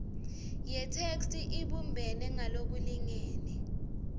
yetheksthi ibumbene ngalokulingene